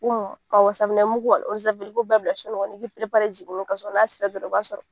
Awɔ safinɛmugu an i i b'olu bɛɛ bila so kɔnɔ i b'i n'a sera dɔrɔn o b'a sɔrɔ